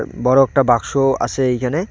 বড় একটা বাক্স আছে এইখানে।